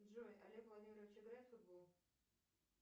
джой олег владимирович играет в футбол